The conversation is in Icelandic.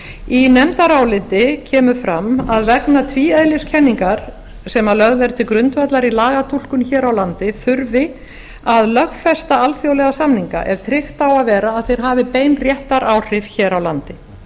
í nefndaráliti kemur fram að vegna tvíeðliskenningar sem lögð er til grundvallar í lagatúlkun hér á landi þurfi að lögfesta alþjóðlega samninga ef tryggt á að vera að þeir hafi bein réttaráhrif hér á landi